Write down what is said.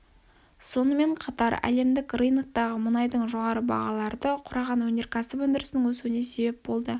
сонымен қатар әлемдік рыноктағы мұнайдың жоғары бағалары ды құраған өнерксіп өндірісінің өсуіне себеп болды